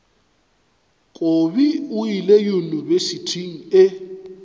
kobi o ile yunibesithing e